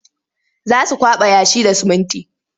Za su kwaɓa yashi da sumunti.